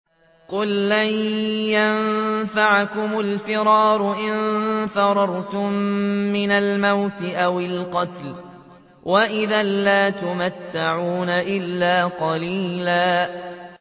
قُل لَّن يَنفَعَكُمُ الْفِرَارُ إِن فَرَرْتُم مِّنَ الْمَوْتِ أَوِ الْقَتْلِ وَإِذًا لَّا تُمَتَّعُونَ إِلَّا قَلِيلًا